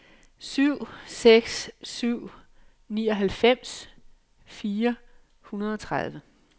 syv seks syv syv nioghalvfems fire hundrede og tredive